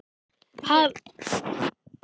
Hafði hann verið göfugri í þá daga?